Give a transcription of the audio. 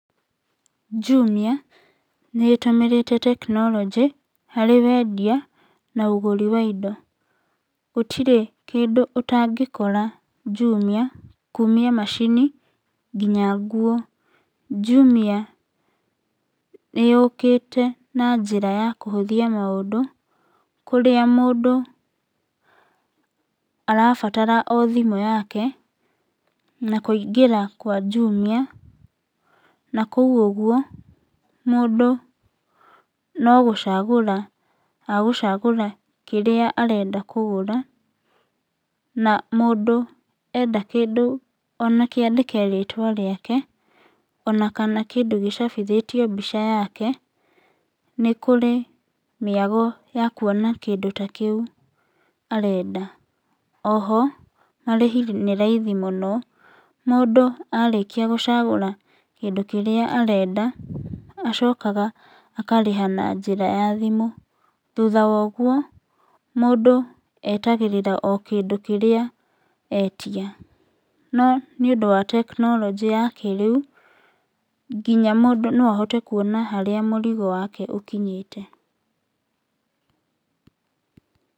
Jumia nĩĩtũmĩrĩte tekinoronjĩ harĩ wendia na ũgũri wa indo. Gũtirĩ kĩndũ ũtangĩkora jumia kũũmia macini nginya nguo. Jumia nĩyũkĩte na njĩra ya kũhũthia maũndũ, kũrĩa mũndũ arabatara o thimũ yake na kũingĩra kwa jumia, na kũu ũguo, mũndũ no gũcagũra agũcagũra kĩrĩa arenda kũgũra, na mũndũ enda kĩndũ ona kĩandĩke rĩtwa rĩake, ona kana kĩndũ gĩcabithĩtio mbica yake, nĩkũrĩ mĩago ya kuona kĩndũ ta kĩu arenda. O ho, marĩhi nĩ raithi mũno, mũndũ arĩkia gũcagũra kĩndũ kĩrĩa arenda, acokaga akarĩha na njĩra ya thimũ, thutha wa ũguo mũndũ etagĩrĩra o kĩndũ kĩrĩa etia. No nĩũndũ wa tekinoronjĩ ya kĩrĩu, nginya mũndũ no ahote kũona nginya harĩa mũrigo wake ũkinyĩte.